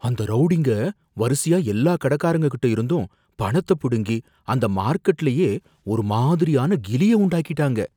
அந்த ரௌடிங்க வரிசையா எல்லா கடைக்காரங்ககிட்ட இருந்தும் பணத்த பிடுங்கி அந்த மார்க்கெட்லயே ஒரு மாதிரியான கிலிய உண்டாக்கிட்டாங்க